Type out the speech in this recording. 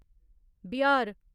Bihar